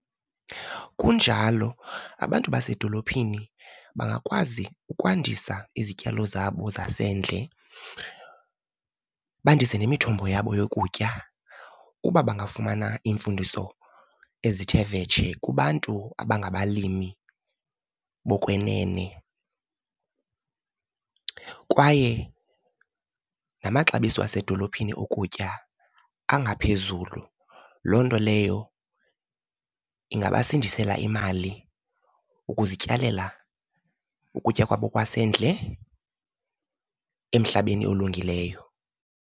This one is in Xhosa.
Kunjalo, abantu basedolophini bangakwazi ukwandisa izityalo zabo zasendle, bandise nemithombo yabo yokutya uba bangafumana iimfundiso ezithe vetshe kubantu abangabalimi bokwenene. Kwaye namaxabiso asedolophini okutya angaphezulu. Loo nto leyo ingabasindisela imali, ukuzityalela ukutya kwabo kwasendle emhlabeni olungileyo.